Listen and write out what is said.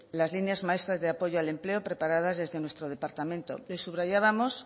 las líneas maestras de apoyo al empleo preparadas desde nuestro departamento subrayábamos